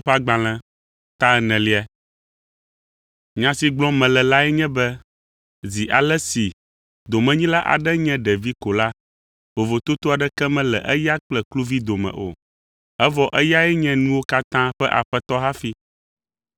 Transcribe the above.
Nya si gblɔm mele lae nye be zi ale si domenyila aɖe nye ɖevi ko la, vovototo aɖeke mele eya kple kluvi dome o, evɔ eyae nye nuwo katã ƒe aƒetɔ hafi.